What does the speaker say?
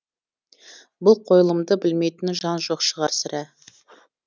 бұл қойылымды білмейтін жан жоқ шығар сірә